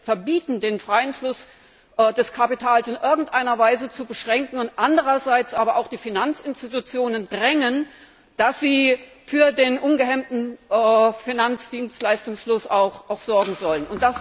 verbieten, den freien Fluss des Kapitals in irgendeiner Weise zu beschränken, und andererseits aber auch die Finanzinstitutionen drängen, dass sie für einen ungehemmten Finanzdienstleistungsfluss sorgen sollen.